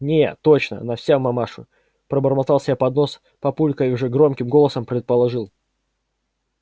не точно она вся в мамашу пробормотал себе под нос папулька и уже громким голосом предположил